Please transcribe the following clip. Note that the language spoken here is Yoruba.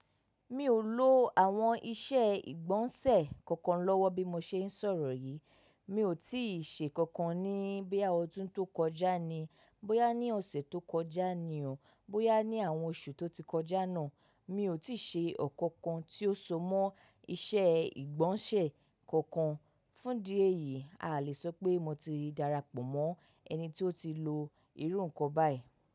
Mi ò lo àwọn ìṣe ìgbọ̀nsẹ̀ kankan lọ́wọ́ bí mo ṣe ń sọ̀rọ̀ yìí. Mi ò tí ì ṣe kankan ní bí i ọdún tó kọjá ni, bóyá ní ọ̀sẹ̀ tó kọjá ni o, bóyá ní àwọn oṣù tó ti kọjá náà, mi ò tí ì ṣe ọ̀kankan tí ó so mọ́ ìṣe ìgbọ̀nsẹ̀ kankan. Fún dí èyí, a lè sọ pé mo ti darapọ̀ mọ́ ẹni tí ó ti lo irú nǹkan báyìí.